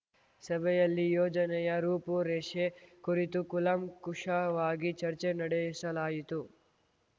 ಸಭೆಯಲ್ಲಿ ಯೋಜನೆಯ ರೂಪುರೇಷೆ ಕುರಿತು ಕೂಲಂಕುಷವಾಗಿ ಚರ್ಚೆ ನಡೆಸಲಾಯಿತು